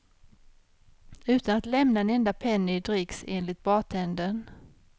Utan att lämna en enda penny i dricks, enligt bartendern.